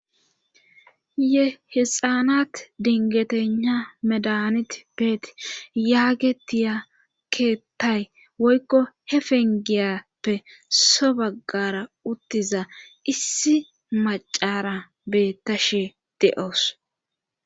Ye hexaanat dingetenha medanit beeti yaagetiyakeettay woykko hepengiyappe so baggara uttiza issi macara beetta she de7oos.